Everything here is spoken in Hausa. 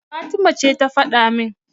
Fatima ce ta faɗa min.